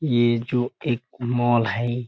ये जो एक मॉल है।